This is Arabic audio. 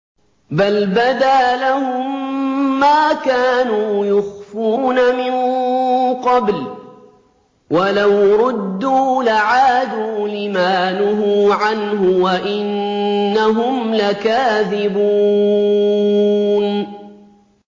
بَلْ بَدَا لَهُم مَّا كَانُوا يُخْفُونَ مِن قَبْلُ ۖ وَلَوْ رُدُّوا لَعَادُوا لِمَا نُهُوا عَنْهُ وَإِنَّهُمْ لَكَاذِبُونَ